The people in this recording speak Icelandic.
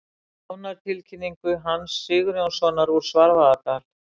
Dánartilkynningu Hans Sigurjónssonar úr Svarfaðardal.